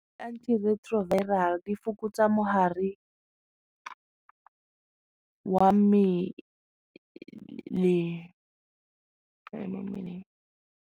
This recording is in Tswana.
Antiretroviral di fokotsa mogare wa .